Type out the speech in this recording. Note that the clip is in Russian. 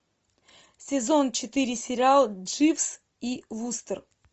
сезон четыре сериал дживс и вустер